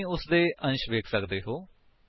ਤੁਸੀ ਉਸਦੇ ਕੰਟੇਂਟਸ ਵੇਖ ਸਕਦੇ ਹੋ